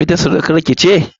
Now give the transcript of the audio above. Ita surukar ki ce?